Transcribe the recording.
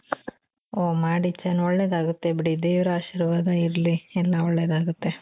ಓಹ್ ಮಾಡಿ ಒಳ್ಳೆದಾಗುತ್ತೆ ಬಿಡಿ ದೇವರ ಆಶೀರ್ವಾದ ಇರ್ಲಿ ಎಲ್ಲಾ ಒಳ್ಳೆದಾಗುತ್ತೆ .